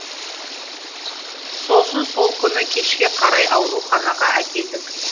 сосын сол күні кешке қарай ауруханаға әкелдік